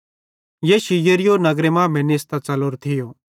यीशु यरीहो नगरे मांमेइं निस्तां च़लोरे थियो